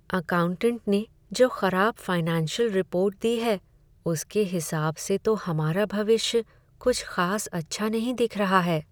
Accountant ने जो खराब फाइनेंशियल रिपोर्ट दी है, उसके हिसाब से तो हमारा भविष्य कुछ खास अच्छा नहीं दिख रहा है।